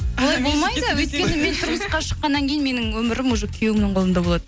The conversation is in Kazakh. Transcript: олай болмайды өйткені мен тұрмысқа шыққаннан кейін менің өмірім уже күйеуімнің қолында болады